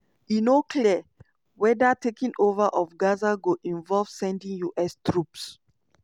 e no clear weda taking over of gaza go involve sending us troops.